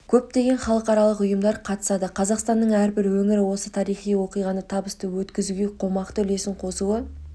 көптеген халықаралық ұйымдар қатысады қазақстанның әрбір өңірі осы тарихи оқиғаны табысты өткізуге қомақты үлесін қосуы